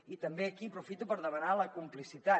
i també aquí aprofito per demanar la complicitat